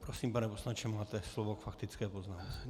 Prosím, pane poslanče, máte slovo k faktické poznámce.